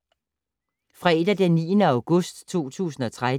Fredag d. 9. august 2013